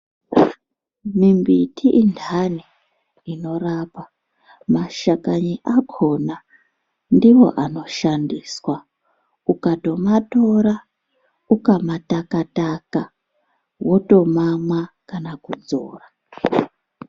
Mimbiti intani inorapa, mashakani akona ndiwo anoshandiswa ukatomatora ukamatakataka wotomamwa kana kudzora.